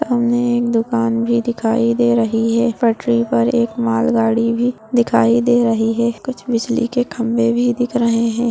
सामने दुकान जो दिखाई दे रहे हैं पटरी पर एक मालगाड़ी भी दिखाई दे रही है कुछ बिजली के काम में भी दिख रहे हैं।